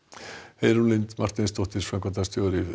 Heiðrún Lind Marteinsdóttir framkvæmdastjóri